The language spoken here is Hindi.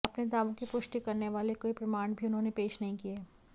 अपने दावों की पुष्टि करने वाले कोई प्रमाण भी उन्होंने पेश नहीं किये